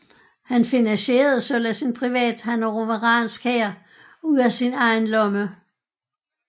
Han finansierede således en privat hannoveransk hær ud af sin egen lomme